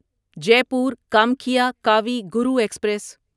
Jaipur Kamakhya Kavi Guru express